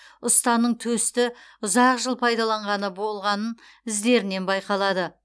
ұстаның төсті ұзақ жыл пайдаланғаны балғаның іздерінен байқалады